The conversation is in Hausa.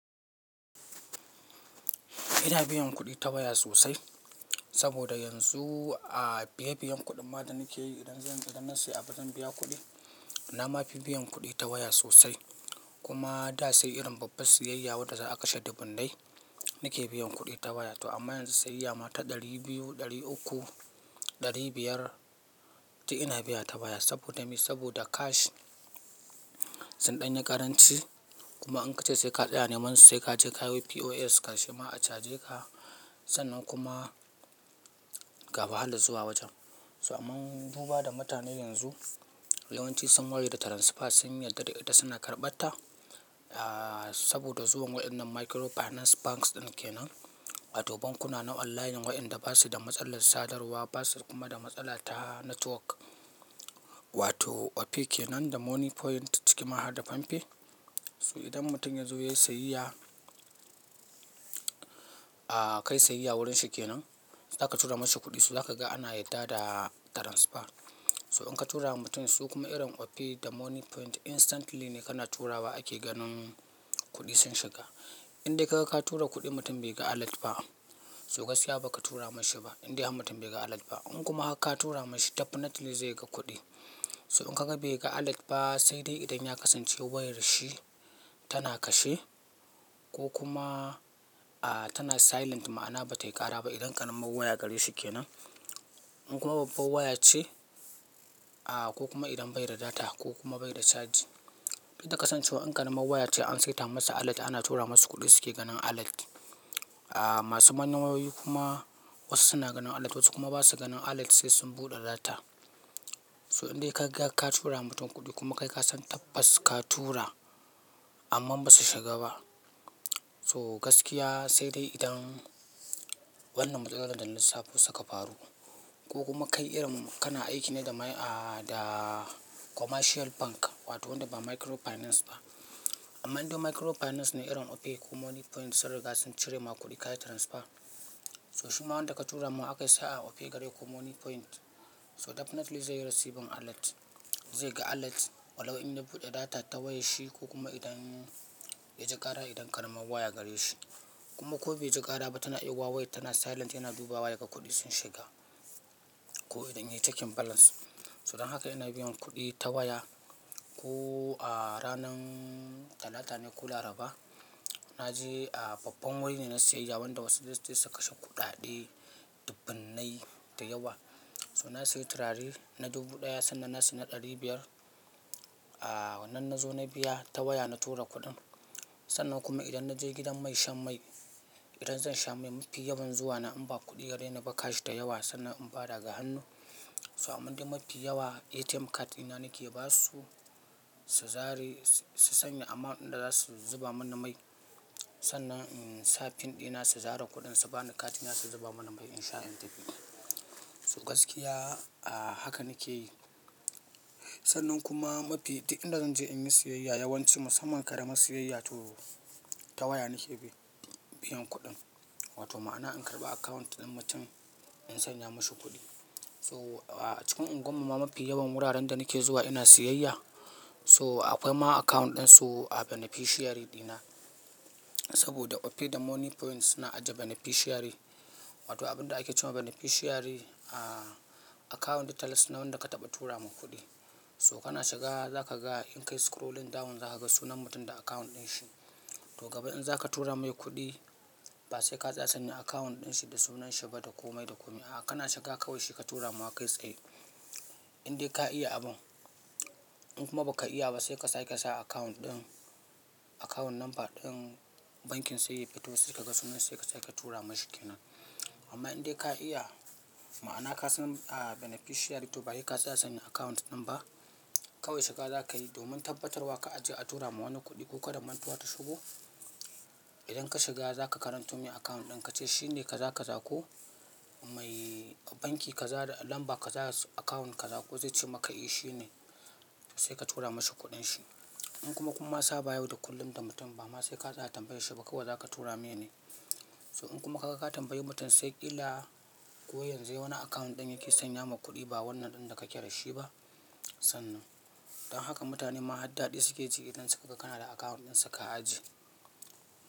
Ina biyan kuɗi ta waya sosai saboda yanzu a biye biyen kuɗin ma da nike yi idan zan, idan na sayi abu zan biya kuɗi. Na mafi biyan kuɗi ta waya sosai kuma da sai irin babban siyayya wanda za a kashe dubun nai nike biyan kuɗi ta waya toh amma yanzu siyayya mata ɗari biyu, ɗari uku, ɗari biyar duk ina biya ta waya saboda me? Saboda cash sun ɗanyi karanci kuma in ka ce sai ka tsaya neman su sai ka je ka yo POS karshema a caje ka sannan kuma ga wahalar zuwa wajen. So amma duba da mutane yanzu yawanci sun waye da transfer sun yarda da ita suna karɓata aa saboda zuwan waɗannan microfinance banks ɗin ke nan. Wato bankuna na online waenda basu da matsalar sadarwa, basu kuma da matsala ta network wato Opay ke nan da Money Point cikin ma har da Pampe. So idan mutum ya zo yayi sayayya, aa kai siyayya wurin shi ke nan za ka tura masa kuɗi so za ka ga ana yarda da transfer. So in ka tura wa mutum su kuma irin Opay da Money Point instantly ne kana turawa ake ganin kuɗi sun shiga. Indai ka ga ka tura kuɗi mutum bai ga alert ba so gaskiya baka tura mashi ba indai har mutum bai ga alert ba. In kuma har ka tura mashi definitely zai ga kuɗi. To in ka ga bai ga alert ba sai dai idan ya kasance wayar shi tana kashe ko kuma aa tana silent ma'ana bata yi ƙara ba idan ƙaramar waya gare shi ke nan. In kuma babban waya ce aa ko kuma idan bai da data ko kuma bai da caji. Duk da ka kasan cewa in ƙananan waya ce an saita masa alert ana tura masa kuɗi suke ganin alert. Aa masu mayan wayoyi kuma wasu suna ganin alert wasu kuma ba su ganin alert sai sun buɗe data. To in dai ka ga ka tura ma wani kudi kuma kasan tabas ka tura amma ba su shiga ba so gaskiya sai dai idan wannan matsalar da na lasafi suka faru ko kuma kai irin kana aiki ne da mai aa da commercial bank wato waɗanda ba microfinance ba. Amma indai microfinance ne irin Opay ko Money Point sun riga sun cire ma kuɗi kayi transfer so shimma wadda a ka tura mai aka saa Opay gare ku Money Point so definitely zai yi receiving alert. Zai ga alert walau in ya buɗe data ta wayar shi ko kuma idan ya ji ƙara idan ƙananan waya gare shi kuma ko bai ji ƙara ba tana iya ma wayan tana silent yana dubawa yake kuɗi sun shiga ko idan ya yi checking balance. So don haka ina biyan kuɗi ta waya ko a ranar Talata ne ko Laraba naje a babban wuri ne na sayi yawawan da wasu zai je su kashe kuɗaɗe dubun nai da yawa. So na sayi turare na dubu ɗaya sannan na sayi na ɗari biyar aa wannan na zo na biya ta waya na tura kuɗin. Sannan kuma idan na je gidan mai shan mai idan zan sha mai mafi yawan zuwa na in ba kuɗi gare na baka shi da yawa sannan in ba daga hannu. So amma indai mafi yawa ATM card dinna nake ba su su zare su sanya amount ɗin da za su zuba mani mai sannan in sa pin ɗina su zare kuɗin su bani card ina su zuba mani mai in sha in tafi. So gaskiya aa haka nake yi. Sannan kuma mafi duk inda zan je in yi siyayya yawanci musamman ƙara mas siyayya toh ta waya nike biyan kuɗin wato ma'ana in karɓa account ɗin mutum in sanya mashi kuɗi. So a cikin agwan mu ma mafi yawan wuraren da na ke zuwa ina siyayya so akwai ma account ɗin su a beneficiary ɗina saboda Opay da Money Point suna ajiye beneficiary wato abin da ake cewa beneficiary aa account details na wanda ka taɓa tura ma kuɗi. So kana shiga za ka ga in ka yi scrolling down za ka ga sunan mutum da account ɗin shi. Toh gaba in za ka tura mai kuɗi ba sai ka sa ne account ɗin shi da sunan shi ba da komai da komi. A'a kana shiga kawai shi ka tura ma kai saye. Indai ka iya abun in kuma baka iya ba sai ka sake ka sa account ɗin account number ɗin bankin sai ya fito sai ka ga sunan shi sai ka tura masa ke nan. Amma in dai ka iya ma'ana ka san aa beneficiary toh ba sai ka tsanya account ɗin ba kawai shiga za ka yi domin tabbatar wa kar a je a tura ma wani kuɗi ko kada mantuwa ta shigo. Idan ka shiga za ka karanto mai account ɗin ka ce shine ka za ka za ko mai banki ka zare number ka zare account ka za ko zai ce maka eh shine sai ka tura masa kuɗin shi. In kuma kun ma sa bayani da kullum da mutum ba ma sai ka tsaya tambaye shi ba kawai za ka tura me ne. So in kuma ka ga ka tambayi mutum sai ƙila ko yanzu yayi wani account ɗin yake sanya ma kuɗi ba wannan ɗin da kake da shi ba sannan. Don haka mutane ma har daɗi suke ji idan suka ga kana da account ɗin su ka ajiye.